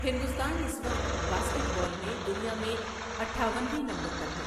ہندوستان اس وقت basketball میں دنیا میں اٹھاون ویں نمبر پر ہے۔